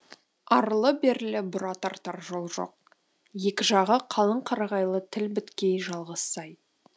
арлы берлі бұра тартар жол жоқ екі жағы қалың қарағайлы тік беткей жалғыз сай